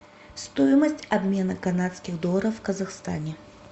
стоимость обмена канадских долларов в казахстане